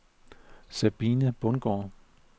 Sabine Bundgaard